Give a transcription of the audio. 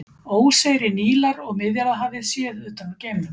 Óseyri Nílar og Miðjarðarhafið séð utan úr geimnum.